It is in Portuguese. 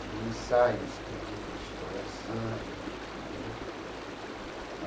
tinha ensaio escondido de escola de samba entendeu.